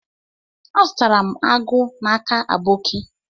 Azutaram agu n'aka aboki.